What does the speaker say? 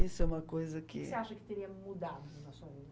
Isso é uma coisa que... O que que você acha que teria mudado na sua vida?